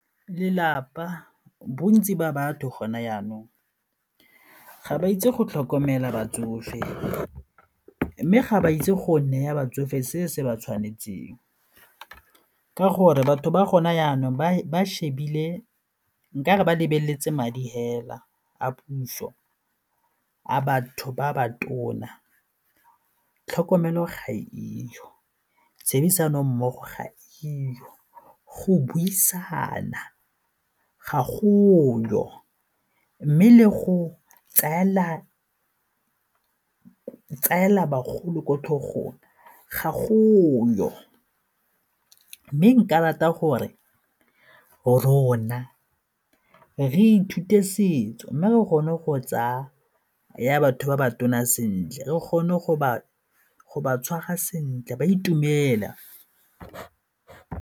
Lelapa, bontsi ba batho gona jaanong, ga ba itse go tlhokomela batsofe mme ga ba itse go neya batsofe se se ba tshwanetseng ka gore batho ba gona jaanong ba shebile nka re ba lebeletse madi fela a puso a batho ba ba tona, tlhokomelo ga e yo, tshebedisano mmogo ga e yo, go buisana ga go yo, mme le go tsaela bagolo ko tlhogong ga go yo mme nka rata gore rona re ithute setso mme re kgone go tsaya batho ba ba tona sentle re kgone go ba tshwara sentle ba itumele.